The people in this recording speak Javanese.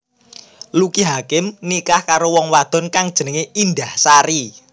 Lucky Hakim nikah karo wong wadon kang jenengé Indahsari